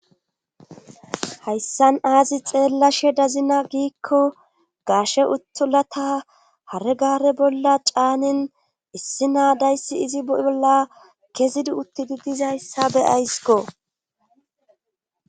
Hayssan aazi xeellashe dazina giikko gaashe uttulata hare gare bolla caanin issi naa dayssi izi bolla kezidi uttidi dizayssa be'askko.